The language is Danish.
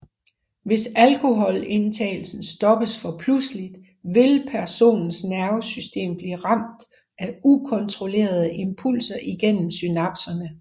Hvis alkoholindtagelsen stoppes for pludseligt vil personens nervesystem blive ramt af ukontrollerede impulser igennem synapserne